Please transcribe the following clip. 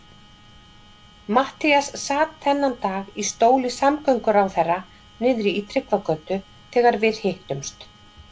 Matthías sat þennan dag í stóli samgönguráðherra niðri í Tryggvagötu þegar við hittumst.